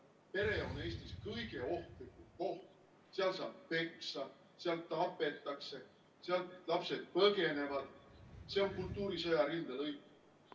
Pere on Eestis kõige ohtlikum koht, seal saab peksa, seal tapetakse, sealt lapsed põgenevad, see on kultuurisõja rindelõik.